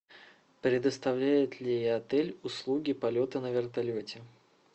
предоставляет ли отель услуги полета на вертолете